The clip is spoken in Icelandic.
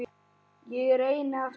Ég reyni aftur